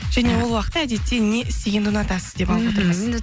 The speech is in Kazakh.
және ол уақытта әдетте не істегенді ұнатасыз деп